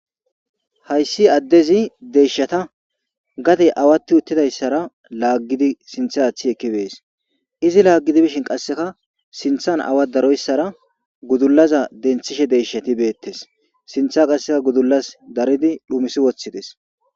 Ha issi addezi deeshata, gade awaaxi dizara laggidi sintta atti ekki be'es. Izi laggidi bishin qassikka, sinttan awaa darossara gudullaza dentishe deeshati be'ettes. Sintta qassikka gudullaz dariidi xumissi uttis.